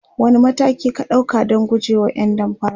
wani mataki ka ɗauka Dan gujewa ƴan damfara?